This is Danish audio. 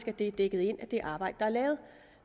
at det er dækket ind af det arbejde der er lavet